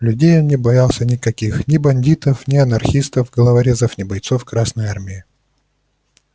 людей он не боялся никаких ни бандитов не анархистов-головорезов ни бойцов красной армии